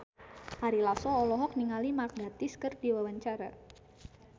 Ari Lasso olohok ningali Mark Gatiss keur diwawancara